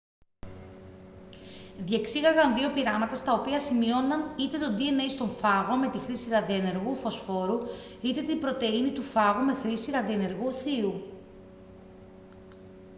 διεξήγαγαν δύο πειράματα στα οποία σημείωναν είτε το dna στον φάγο με τη χρήση ραδιενεργού φωσφόρου είτε την πρωτεΐνη του φάγου με χρήση ραδιενεργού θείου